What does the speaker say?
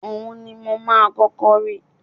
Ohun ni mo máa kọ́kọ́ rí